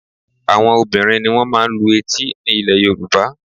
Àwọn obìnrin ni wọ́n máa ń lu etí ní ilẹ̀ Yorùbá